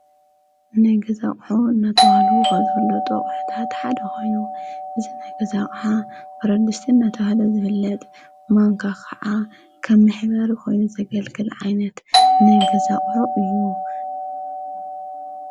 ንእሽቶ ድስቲ መብሰሊ ኣብ ውሽጡ ማንካ ዘለዎ እንትከውን፣ እቲ ድስቲ ኣብ ልዕሊ ሓደ ጠረጴዛ ብረት ኣብ ልዕሊ ሓደ ሕብራዊ ፍረታት ቅርፅ ዘለዎ ፕላስቲክ ጠረጴዛ ዝተቀመጠ እዩ።